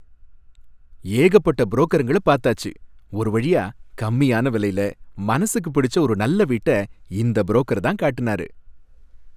ஏகப்பட்ட புரோக்கருங்கள பார்த்தாச்சு. ஒரு வழியா கம்மியான விலையில மனசுக்கு பிடிச்ச ஒரு நல்ல வீட்ட இந்த புரோக்கர் தான் காட்டுனாரு.